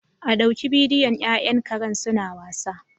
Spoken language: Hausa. A ɗauki bidiyon ƴaƴan karen suna wasa